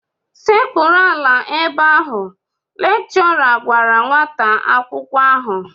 Sekpuru ala ebe ahụ! Lekchọra gwara nwata akwụkwọ ahụ